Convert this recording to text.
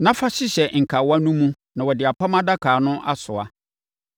na fa hyehyɛ nkawa no mu na wɔde apam adaka no asoa.